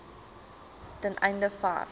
ten einde vars